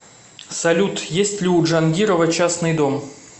салют есть ли у джангирова частный дом